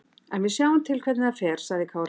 En við sjáum til hvernig það fer, sagði Kári.